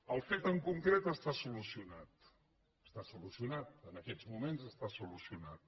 el fet en concret està solucionat en aquests moments està solucionat